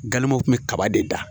Gamgew kun bɛ kaba de da